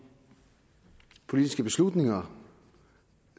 politiske beslutninger